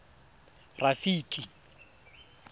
rafiki